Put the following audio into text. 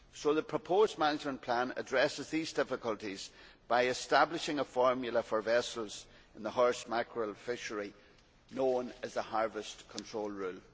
The proposed management plan addresses these difficulties by establishing a formula for vessels in the horse mackerel fishery known as the Harvest Control Rule.